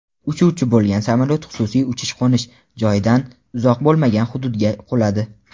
uchuvchi bo‘lgan samolyot xususiy uchish-qo‘nish joyidan uzoq bo‘lmagan hududga quladi.